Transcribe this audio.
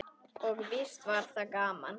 Og víst var það gaman.